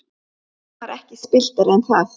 Hann var ekki spilltari en það.